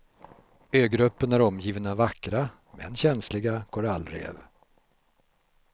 Ögruppen är omgiven av vackra men känsliga korallrev.